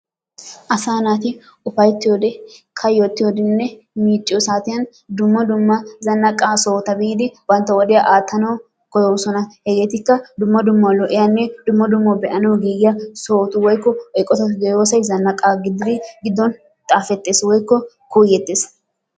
Asa naati ufayttiyoode, kayyotiyoodenne miicciyoo saatiyan dumma dumma zannaqa sohota biidi bantta wodiyaa aattanaw koyyoosona. Hegetikka dumma dumma lo''iyanne dumma dumma be'anaw giigiyaa sohoti woykko eqqotati de'iyoosay zannaqa gibe giddon xaafetees woykko kuuyyetees.